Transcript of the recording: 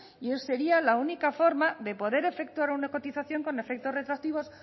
y esa sería la única forma de poder efectuar una cotización con efectos retroactivos